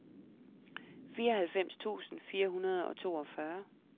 fireoghalvfems tusind fire hundrede og toogfyrre